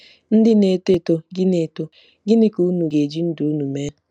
Ndị Na-eto Eto — Gịnị Eto — Gịnị Ka unu ga-eji ndụ unu mee?